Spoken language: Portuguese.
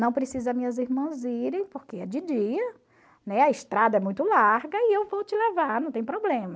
Não precisa minhas irmãs irem, porque é de dia, né, a estrada é muito larga e eu vou te levar, não tem problema.